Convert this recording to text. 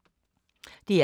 DR K